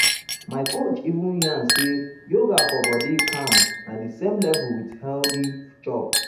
my coach even yarn say yoga for body calm na the same level with healthy chop.